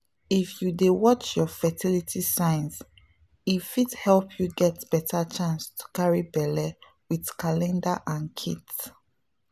if you dey watch your fertility signs e fit help you get better chance to carry belle with calendar and kits.